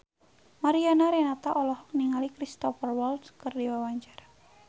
Mariana Renata olohok ningali Cristhoper Waltz keur diwawancara